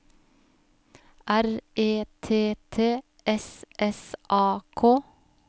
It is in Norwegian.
R E T T S S A K